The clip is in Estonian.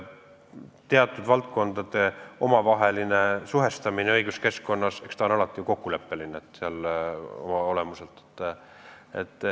Teatud valdkondade omavaheline suhestamine õiguskeskkonnas on oma olemuselt alati kokkuleppeline.